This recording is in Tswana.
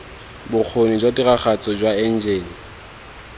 bokgoni jwa tiragatso jwa enjene